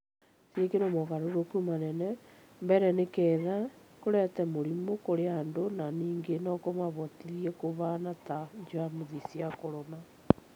cĩĩkĩrwo mũgarũrukũ manene, mbere nĩgetha kũrehe mũrĩmũ kũrĩ andũ na ningĩ no kũmahotithie kũhaana ta jamusi cia corona